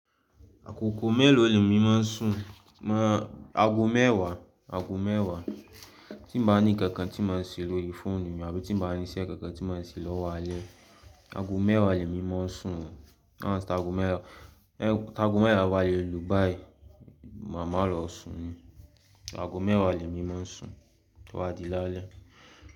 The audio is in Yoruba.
Àgogo mélòó ni èmi máa ń sùn? Máa, aago mẹ́wàá, aago mẹ́wàá. Tí mo bá ní kankan tí máa ń ṣẹ lóri fóònù mi àbí tí mo bá ní iṣẹ́ kankan tí máa ń ṣẹ lọ́wọ́ alẹ́, aago mẹ́wàá ni èmi máa ń sùn. Táa aago mẹ́wàá, táa aago mẹ́wàá bá le lù báyìí, mà má lọ sun ún. Aago mẹ́wàá ni èmi máa ń sùn tó ba dí lá'lẹ́.